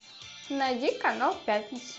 найди канал пятница